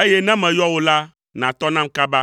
eye ne meyɔ wò la, nàtɔ nam kaba.